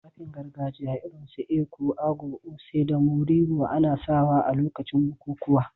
Tufafin gargajiya irin su èkú/agọ̀, oṣé, da môriwò ana sawa a lokacin bukukuwa